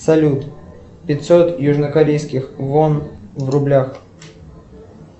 салют пятьсот южнокорейских вон в рублях